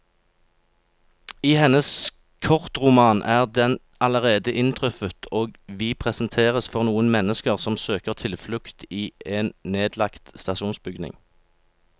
I hennes kortroman er den allerede inntruffet, og vi presenteres for noen mennesker som søker tilflukt i en nedlagt stasjonsbygning.